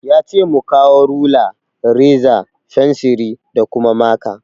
Yace mu kawo rula, reza, fensiri, da kuma maka